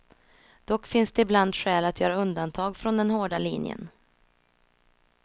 Dock finns det ibland skäl att göra undantag från den hårda linjen.